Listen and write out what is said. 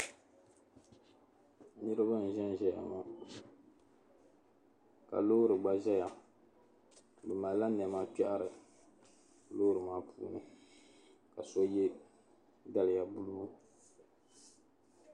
niriba n-zanzaya ŋɔ ka loori gba zaya bɛ malila nɛma kpɛhiri loori maa puuni ka so ye daliya buluu